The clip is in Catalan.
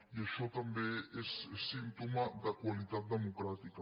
i això també és símptoma de qualitat democràtica